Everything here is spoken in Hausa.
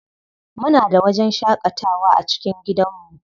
Muna da wajen shaƙatawa a cikin gidanmu.